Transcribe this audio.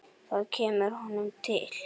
Það kemur honum til.